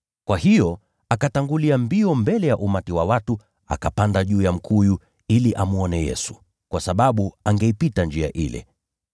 Kwa hiyo akatangulia mbio mbele ya umati wa watu akapanda juu ya mkuyu ili amwone Yesu, kwa sababu angeipitia njia ile.